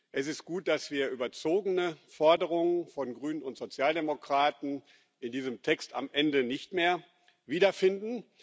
Es ist gut, dass wir überzogene Forderungen von Grünen und Sozialdemokraten in diesem Text am Ende nicht mehr wiederfinden.